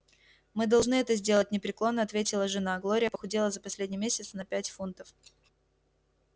мы должны это сделать непреклонно ответила жена глория похудела за последний месяц на пять фунтов